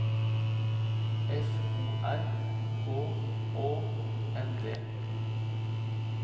F O R H Å N D